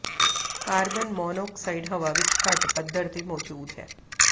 carbon monoxide ਹਵਾ ਵਿਚ ਘੱਟ ਪੱਧਰ ਤੇ ਮੌਜੂਦ ਹੈ